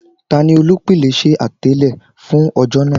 Tani olupilẹṣẹ atẹle fun ọjọ naa?